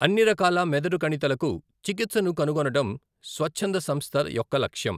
అన్ని రకాల మెదడు కణితులకు చికిత్సను కనుగొనడం స్వచ్ఛంద సంస్థ యొక్క లక్ష్యం.